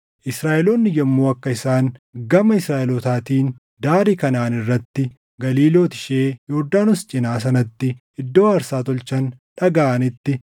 Israaʼeloonni yommuu akka isaan gama Israaʼelootaatiin daarii Kanaʼaan irratti Galiilooti ishee Yordaanos cinaa sanatti iddoo aarsaa tolchan dhagaʼanitti,